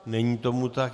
Není tomu tak.